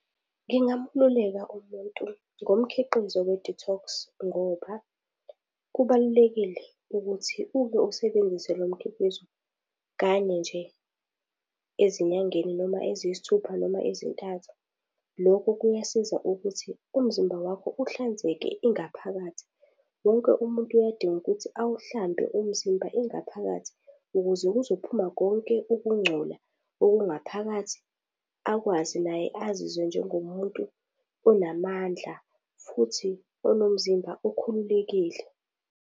Ngingamluleka umuntu ngomkhiqizo we-detox ngoba kubalulekile ukuthi uma usebenzise lo mkhiqizo kanye nje ezinyangeni noma eziyisithupha noma ezintathu. Lokhu kuyasiza ukuthi umzimba wakho uhlanzeke ingaphakathi. Wonke umuntu uyadinga ukuthi awuhlambe umzimba ingaphakathi ukuze kuzophuma konke ukungcola okungaphakathi akwazi naye azizwe njengo muntu onamandla futhi onomzimba okhululekile.